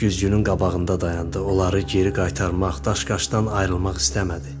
Güzgünün qabağında dayandı, onları geri qaytarmaq, daşqaşdan ayrılmaq istəmədi.